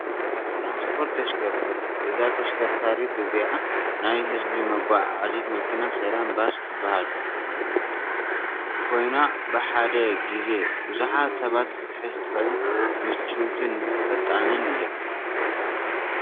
ትራንስፖርት ተሽኸርከት፦ እዛ ተሽከርካሪት እዚኣ ናይ ህዝቢ መጓዓዓዚት መኪና ሰላም ባስ ትባሃል ኮይና ፤ብሓደ ግዜ ብዙሓት ሰባት ክትሕዝ ትክእል ምችውትን ፈጣንን እያ።